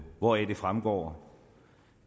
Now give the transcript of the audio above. hvoraf det fremgår